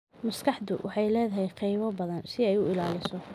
Maskaxdu waxay leedahay qaybo badan si ay u ilaaliso.